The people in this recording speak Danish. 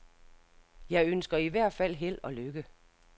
Jeg ønsker i hvert fald held og lykke.